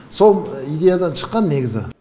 сол идеядан шыққан негізі